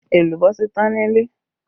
Èlùbọ́ ti tán nílé